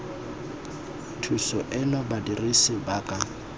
thuso eno badirisi ba ka